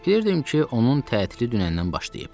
Bilirdim ki, onun tətili dünəndən başlayıb.